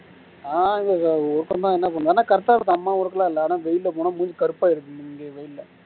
ஆஹ் இங்க ஆனா correct ஆ இருக்கு அம்மா ஊருக்குலாம் இல்ல ஆன வெயில்ல போனா மூஞ்சி கருப்பாகிருது இங்கே வெயில்ல